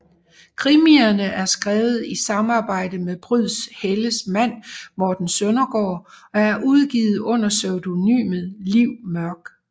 Krimierne er skrevet i samarbejde med Pryds Helles mand Morten Søndergaard og er udgivet under pseudonymet Liv Mørk